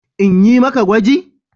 In yi maka gwaji?